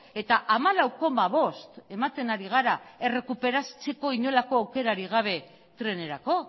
eta hamalau koma bost ematen ari gara errekuperatzeko inolako aukerarik gabe trenerako